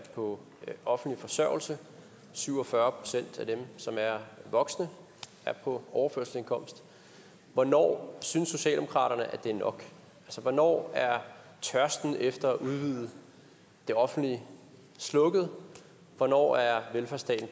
på offentlig forsørgelse syv og fyrre procent af dem som er voksne er på overførselsindkomst hvornår synes socialdemokratiet at det er nok hvornår er tørsten efter at udvide det offentlige slukket hvornår er velfærdsstaten